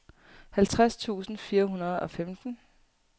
halvtreds tusind fire hundrede og femten